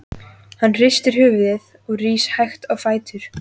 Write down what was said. Hann hristir höfuðið og rís hægt á fætur.